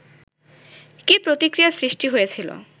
কী প্রতিক্রিয়ার সৃষ্টি হয়েছিল